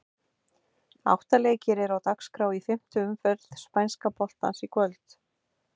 Átta leikir eru á dagskrá í fimmtu umferð spænska boltans í kvöld.